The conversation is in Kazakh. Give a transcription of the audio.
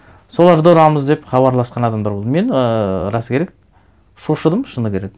соларды ұрамыз деп хабарласқан адамдар болды мен ы расы керек шошыдым шыны керек